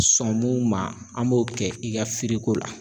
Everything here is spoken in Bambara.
Sɔn mun ma an b'o kɛ i ka la